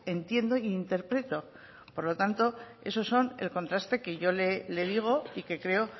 entiendo e interpreto por lo tanto eso son los contrastes que yo le digo y que creo